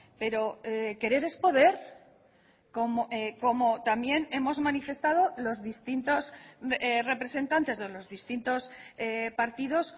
pero querer es poder como también hemos manifestado los distintos representantes de los distintos partidos